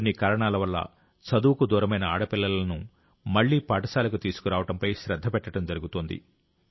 కొన్ని కారణాల వల్ల చదువుకు దూరమైన ఆడపిల్లలను మళ్లీ పాఠశాలకు తీసుకురావడంపై శ్రద్ధ పెట్టడం జరుగుతోంది